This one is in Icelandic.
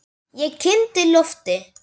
Ég kyngdi lofti.